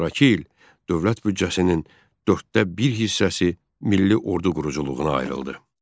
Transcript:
Sonrakı il dövlət büdcəsinin dörddə bir hissəsi milli ordu quruculuğuna ayrıldı.